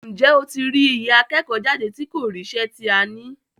Ǹjẹ́ ó tí rí iye akẹ́kọ̀ọ́ jáde tí kò ríṣẹ́ tí a ní?